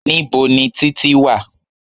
Níbo ni Títí wà?